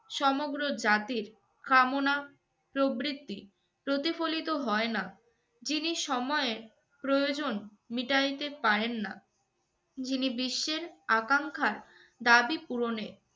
সমগ্র জাতির কামনা প্রবৃত্তি প্রতিফলিত হয় না, যিনি সময়ের প্রয়োজন মিটাইতে পারেন না, যিনি বিশ্বের আকাঙ্খার দাবি পূরণে